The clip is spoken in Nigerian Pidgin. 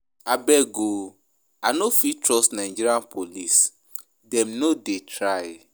Abeg o, I no fit trust Naija police, dem no dey try.